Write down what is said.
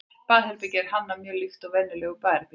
baðherbergið er hannað mjög líkt og venjulegt baðherbergi